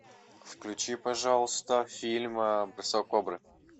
включи пожалуйста фильм бросок кобры